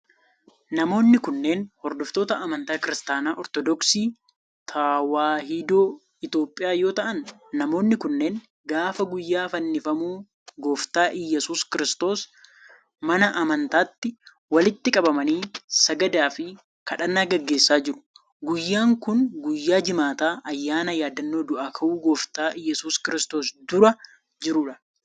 Namoonni kunneen, hordoftoota amantaa Kiristaana Ortodooksii Tawaahidoo Itoophiyaa yoo ta'an, namoonni kunneen gaafa guyyaa fannifamuu Gooftaa Iyyasuus Kiristoos mana amntaatti walitti qabamanii sagadaa fi kadhannaa gaggeessaa jiru. Guyyaan kun, guyyaa jimaata ayyaana yaadannoo du'aa ka'uu Gooftaa Iyyasuus Kiristoos dura jiruu dha.